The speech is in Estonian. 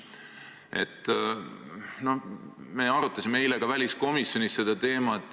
Me arutasime seda teemat ka eile väliskomisjonis.